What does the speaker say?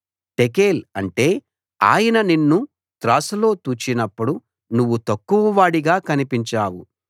టెకేల్‌ అంటే ఆయన నిన్ను త్రాసులో తూచినప్పుడు నువ్వు తక్కువవాడిగా కనిపించావు